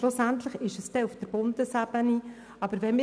Schlussendlich ist die Bundesebene zuständig.